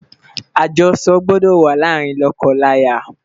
ajoso gbọdọ wà làrin loko laya